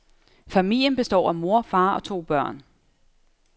Familien består af mor, far og to børn.